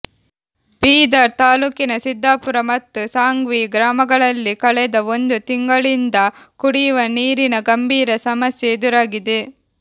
ಬೀದರ್ ತಾಲ್ಲೂಕಿನ ಸಿದ್ಧಾಪುರ ಮತ್ತು ಸಾಂಗ್ವಿ ಗ್ರಾಮಗಳಲ್ಲಿ ಕಳೆದ ಒಂದು ತಿಂಗಳಿಂದ ಕುಡಿಯುವ ನೀರಿನ ಗಂಭೀರ ಸಮಸ್ಯೆ ಎದುರಾಗಿದೆ